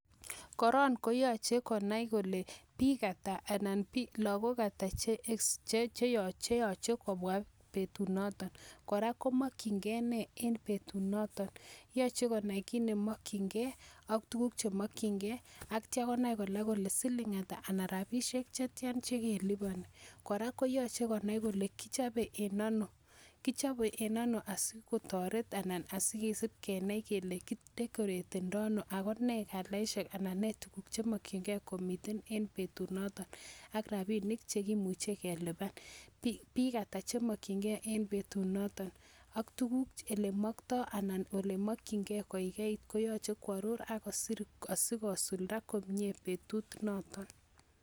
Koron koyachei konai lole bik ata ana lagok ata cheyachei kobwa betunotok, kora komakchingei ne eng betunotok. Yachei konai chemakchinkei AK tukuk chemakchinkei.ak konai kole siling ata anan rabishek ata chekelipani, korok koyachei konai kole kichabei en ano sikotoret anan kosib kendai kele kidekoretedai ano. AK ne kalaishek eng betunotok AK rabinik cheimuchei kelipan AK bik ata che mmakchingei eng betunotok AK tukuk ale mmakchingei koyachei koaror asi kosuldae komie betut notok.